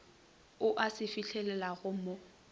a ka e fihlelelago mo